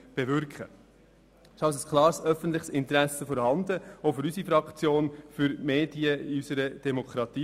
Es ist also ein klares öffentliches Interesse an den Medien in unserer Demokratie vorhanden, auch aus der Sicht unserer Fraktion.